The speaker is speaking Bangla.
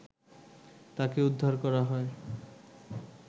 তাকে উদ্ধার করা হয়